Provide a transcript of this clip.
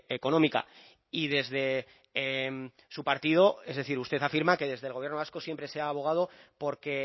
económica y desde su partido es decir usted afirma que desde el gobierno vasco siempre se ha abogado por que